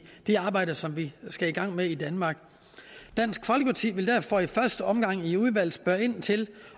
det arbejde som vi skal i gang med i danmark dansk folkeparti vil derfor i første omgang i udvalget spørge ind til